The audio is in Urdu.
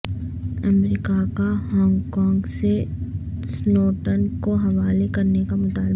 امریکہ کا ہانگ کانگ سے سنوڈن کو حوالے کرنے کا مطالبہ